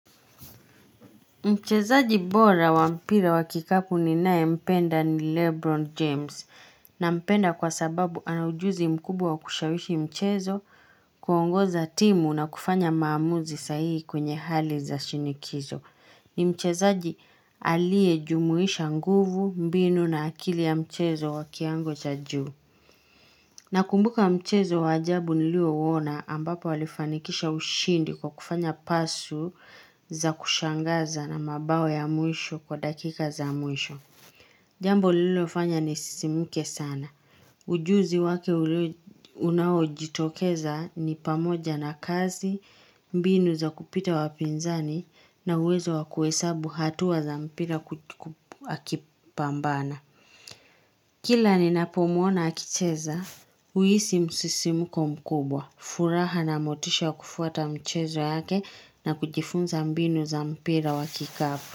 Mchezaji bora wampira wakikapu ni naye mpenda ni Lebron James na mpenda kwa sababu anaujuzi mkubwa wa kushawishi mchezo kuongoza timu na kufanya maamuzi sahihi kwenye hali za shinikizo. Ni mchezaji aliye jumuhisha nguvu mbinu na akili ya mchezo wakiwango cha juu. Na kumbuka mchezo waajabu nilio uona ambapo walifanikisha ushindi kwa kufanya pasu za kushangaza na mabao ya mwisho kwa dakika za mwisho. Jambo liliofanya ni sisimuke sana. Ujuzi wake unaojitokeza ni pamoja na kazi, mbinu za kupita wapinzani na uwezo wakuhesabu hatua za mpira akipambana. Kila ni napomuona akicheza, huisi msisimko mkubwa. Furaha na motisha kufuata mchezo yake na kujifunza mbinu za mpira wakikapu.